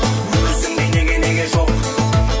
өзіңдей неге неге жоқ